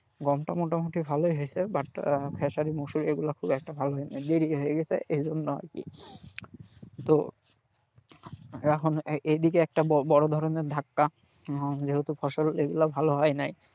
গমটা মোটামুটি ভালোই হয়েছে but আহ খেসারী মুসুর এগুলো খুব একটা ভালো হয়নাই দেরী হয়ে গেছে এইজন্য আরকি তো এখন এইদিকে একটা বড়ো ধরনের ধাক্কা যেহেতু ফসল এগুলো ভালো হয়নাই।